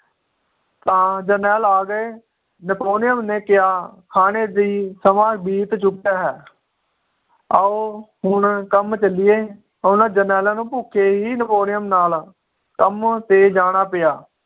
ਤਾਂ ਜਰਨੈਲ ਆ ਗਏ Napolean ਨੇ ਕਿਹਾ ਖਾਣੇ ਦੀ ਸਮਾਂ ਬੀਤ ਚੁੱਕਾ ਹੈ ਆਓ ਹੁਣ ਕੰਮ ਚਲੀਏ ਉਹਨਾਂ ਜਰਨੈਲਾਂ ਨੂੰ ਭੁੱਖੇ ਹੀ napanean ਨਾਲ ਕੰਮ ਤੇ ਜਾਨਾ ਪਿਆ